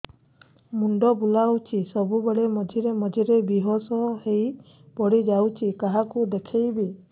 ମୁଣ୍ଡ ବୁଲାଉଛି ସବୁବେଳେ ମଝିରେ ମଝିରେ ବେହୋସ ହେଇ ପଡିଯାଉଛି କାହାକୁ ଦେଖେଇବି